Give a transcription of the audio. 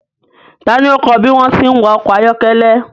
Ta ni ó kọ́ ẹ bí wọ́n ti ń wa ọkọ̀ ayọ́kẹ́lẹ́?